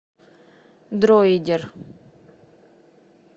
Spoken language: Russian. дроидер